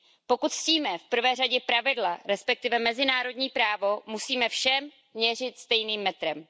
Pokud ctíme v prvé řadě pravidla, respektive mezinárodní právo, musíme všem měřit stejným metrem.